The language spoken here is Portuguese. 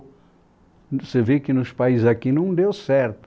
Você vê que nos países aqui não deu certo.